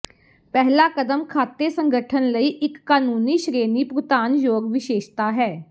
ਪਹਿਲਾ ਕਦਮ ਖਾਤੇ ਸੰਗਠਨ ਲਈ ਇੱਕ ਕਾਨੂੰਨੀ ਸ਼੍ਰੇਣੀ ਭੁਗਤਾਨਯੋਗ ਵਿਸ਼ੇਸ਼ਤਾ ਹੈ